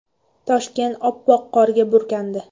Toshkent oppoq qorga burkandi .